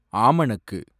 ஆமணக்கு